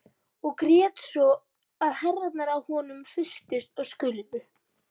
Og grét svo að herðarnar á honum hristust og skulfu.